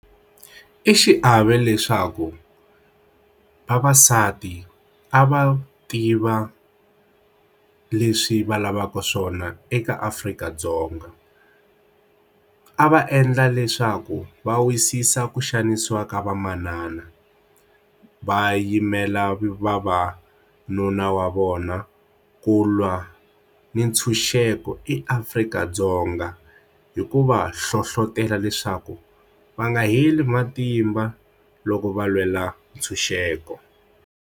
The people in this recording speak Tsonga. I xiave leswaku vavasati a va tiva leswi va lavaka swona eka Afrika-Dzonga a va endla leswaku va wisisa ku xanisiwa ka vamanana va yimela vavanuna wa vona ku lwa ni ntshunxeko eAfrika-Dzonga hikuva hlohlotelo leswaku va nga heli matimba loko va lwela ntshunxeko.